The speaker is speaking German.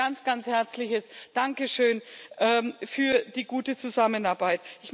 Ein ganz, ganz herzliches Dankeschön für die gute Zusammenarbeit.